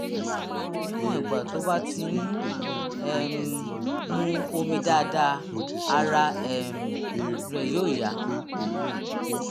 níwọ̀n ìgbà tó bá ti ń um mu omi dáadáa ara um rẹ̀ yóò yá